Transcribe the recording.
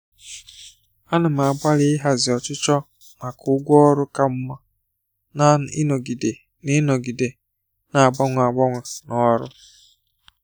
Ana m agbalị ịhazi ọchịchọ maka ụgwọ ọrụ ka mma na ịnọgide na ịnọgide na-agbanwe agbanwe n'ọrụ.